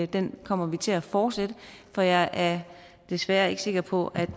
den kommer vi til at fortsætte for jeg er desværre ikke sikker på